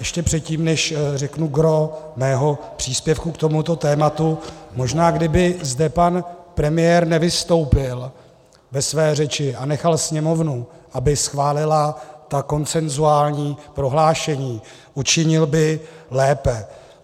Ještě předtím, než řeknu gros svého příspěvku k tomuto tématu - možná kdyby zde pan premiér nevystoupil ve své řeči a nechal Sněmovnu, aby schválila ta konsenzuální prohlášení, učinil by lépe.